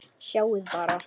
Sjáiði bara!